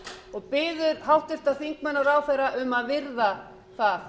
og biður háttvirtir þingmenn og ráðherra um að virða það